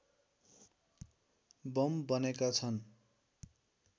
bomb बनेका छन्